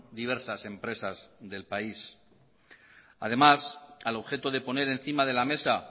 diversas empresas del país además al objeto de poner encima de la mesa